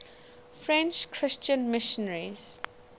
french christian missionaries